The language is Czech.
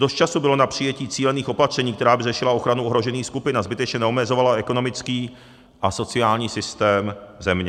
Dost času bylo na přijetí cílených opatření, která by řešila ochranu ohrožených skupin a zbytečně neomezovala ekonomický a sociální systém země.